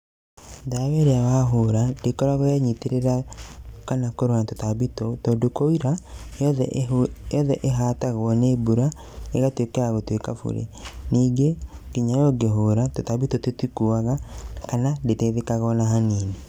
Ndawa ĩrĩa arahũra ndĩkoragwo yenyitĩrĩra kana kũrũa na tũtambi tũu tondũ kwaura yoothe ĩhatagwo nĩ mbura ĩgatuĩka ya gũtuĩka burĩ. Ningĩ nginya ũngĩhũra, tũtambi tũu tũtikuaga kana ndĩteithĩkaga ona hanini.